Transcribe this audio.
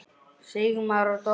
Sigmar og Dóra.